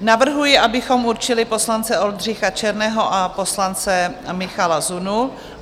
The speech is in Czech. Navrhuji, abychom určili poslance Oldřicha Černého a poslance Michala Zunu.